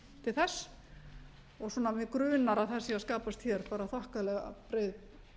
til þess og mig grunar að það sé að skapast hér bara þokkalega breið